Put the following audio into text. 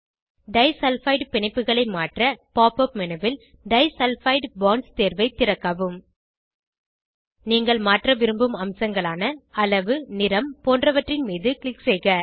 disulphide பிணைப்புகளை மாற்ற pop menu ல் டைசல்பைடு பாண்ட்ஸ் தேர்வை திறக்கவும் நீங்கள் மாற்ற விரும்பும் அம்சங்களான அளவு நிறம் போன்றவற்றின் மீது க்ளிக் செய்க